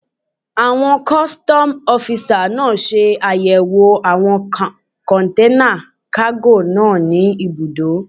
Àwọn kọ́sítọ́mù ọ́fisà náà ṣe àyẹ̀wò àwọn kọ̀nténà kágò náà ní ibùdó